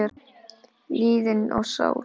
liðin sál.